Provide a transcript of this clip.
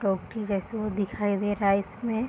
जैसा दिखाई दे रहा है इसमें।